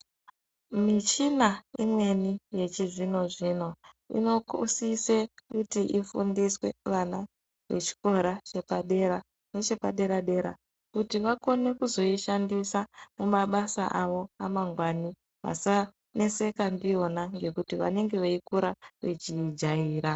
Michina imweni yechizvino-zvino inosise kuti ifundiswe vana vechikora chepadera nechepadera-dera, kuti vakone kuzoishandisa mumabasa avo amangwani asaneseka ndiyona ngekuti vanenge veikura vechiijaira.